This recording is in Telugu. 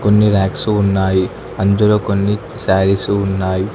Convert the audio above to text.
కొన్ని రాక్సు ఉన్నాయి అందులో కొన్ని శారీసు ఉన్నాయి.